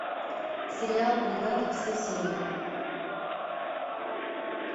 сериал бригада все серии